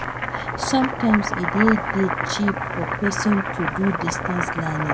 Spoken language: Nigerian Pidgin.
Sometimes e dey dey cheap for person to do distance learning